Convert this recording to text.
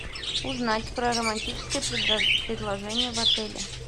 узнать про романтическое предложение в отеле